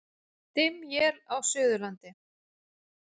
Dimm él á Suðurlandi